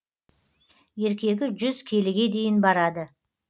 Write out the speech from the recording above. еркегі жүз келіге дейін барады